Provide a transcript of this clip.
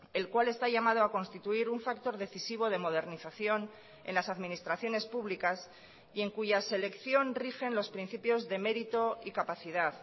el cual está llamado a constituir un factor decisivo de modernización en las administraciones públicas y en cuya selección rigen los principios de mérito y capacidad